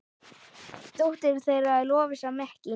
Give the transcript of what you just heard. Dóttir þeirra er Lovísa Mekkín.